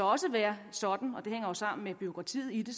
også være sådan og det hænger jo sammen med bureaukratiet i det